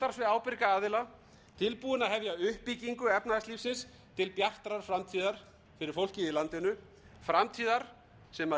ábyrga aðila tilbúinn að hefja uppbyggingu efnahagslífsins til bjartrar framtíðar fyrir fólkið í landinu framtíðar sem